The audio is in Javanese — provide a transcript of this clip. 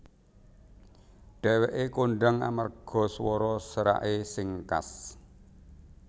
Dhèwèké kondhang amarga swara seraké sing khas